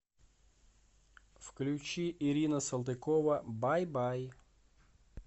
включи ирина салтыкова бай бай